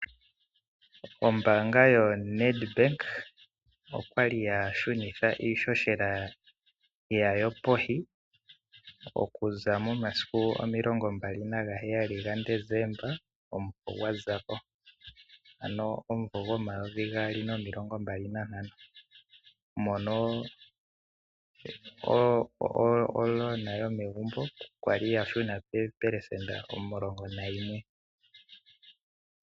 Ombaanga yoNedbank okwali yashunitha iishoshela yawo pevi okuza momasiku 27 gaDecemba omumvo gwazako ano omumvo 2025 mono omukuli gwegumbo kwali gwashuna pevi no% 11.